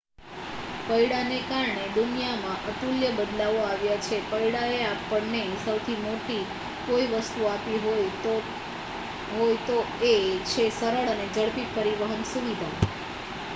પૈડાંને કારણે દુનિયામાં અતુલ્ય બદલાવો આવ્યા છે પૈડાંએ આપણને સૌથી મોટી કોઈ વસ્તુ આપી હોય તો એ છે સરળ અને ઝડપી પરિવહન સુવિધા